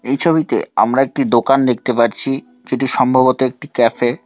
এই ছবিতে আমরা একটি দোকান দেখতে পারছি যেটি সম্ভবত একটি ক্যাফে ।